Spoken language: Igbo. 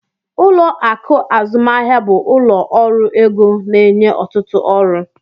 Ụlọ akụ azụmahịa bụ ụlọ ọrụ ego na-enye ọtụtụ ọrụ.